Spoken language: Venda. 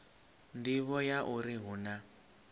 nḓivho ya uri hu na